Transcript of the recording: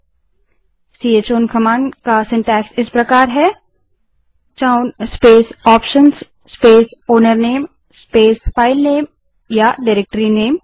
चौन command का रचनाक्रम syntax इस प्रकार है space option space owner name space file name या डाइरेक्टरीनेम